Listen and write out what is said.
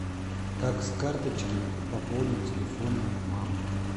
как с карточки пополнить телефон мамы